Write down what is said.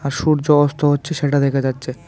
আর সূর্য অস্ত হচ্ছে সেটা দেখা যাচ্ছে।